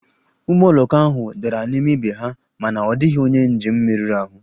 Ụgbọ oloko ndị ahụ dara n'ime ibe ha mana ọ dịghị onye njem merụrụ ahụ